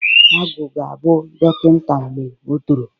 Agwụ ga-abụ dọkịnta mgbe o toro.